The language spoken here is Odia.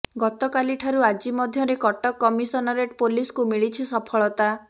ଗତକାଲି ଠାରୁ ଆଜି ମଧ୍ୟରେ କଟକ କମିଶନରେଟ ପୋଲିସକୁ ମିଲିଛି ସଫଳତା